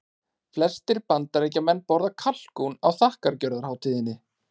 Flestir Bandaríkjamenn borða kalkún á þakkargjörðarhátíðinni.